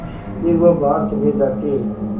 फिर वह बाहर चले जाते